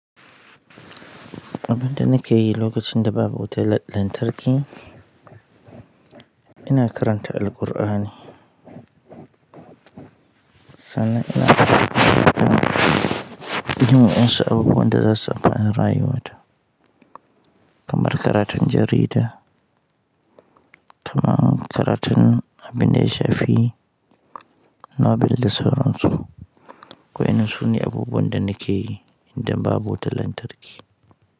Abin da nake yi lokacin da babu wutar lantarki, ina karanta Alqur'ani. Sannan ina yin waƴansu abubuwan da zasu amfani rayuwata, kamar karatun jarida, kaman karatu abin da ya shafi Nobel da sauransu, wa'innan su ne abubuwan da nike yi idan babu wuta lantarki.